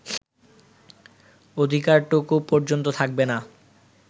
অধিকারটুকু পর্যন্ত থাকবে না